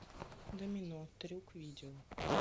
домино трюк видео